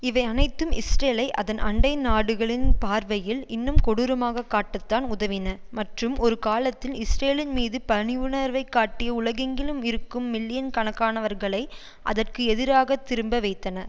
இவை அனைத்தும் இஸ்ரேலை அதன் அண்டை நாடுகளின் பார்வையில் இன்னும் கொடூரமாக காட்டத்தான் உதவின மற்றும் ஒருகாலத்தில் இஸ்ரேலின் மீது பனிவுணர்வை காட்டிய உலகெங்கிலும் இருக்கும் மில்லியன் கணக்கானவர்களை அதற்கு எதிராக திரும்ப வைத்தன